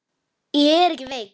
Ég er ekki veik.